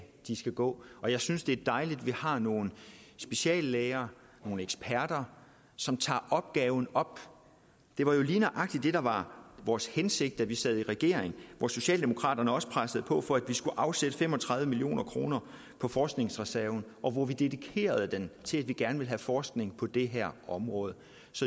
de skal gå og jeg synes det er dejligt at vi har nogle speciallæger nogle eksperter som tager opgaven op det var jo lige nøjagtig det der var vores hensigt da vi sad i regering hvor socialdemokraterne også pressede på for at vi skulle afsætte fem og tredive million kroner på forskningsreserven og hvor vi dedikerede dem til at vi gerne ville have forskning på det her område så